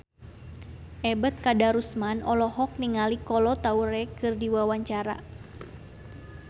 Ebet Kadarusman olohok ningali Kolo Taure keur diwawancara